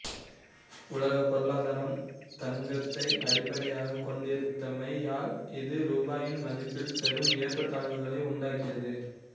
உலகப் பொருளாதாரம் தங்கத்தை அடிப்படையாகக் கொண்டிருந்தமையால் இது ரூபாயின் மதிப்பில் பெரும் ஏற்றத்தாழ்வுகளை உண்டாக்கியது